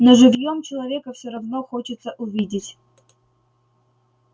но живьём человека все равно хочется увидеть